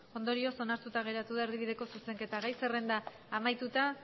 ondorioz onartuta geratu da erdibideko zuzenketa gai zerrenda amaituta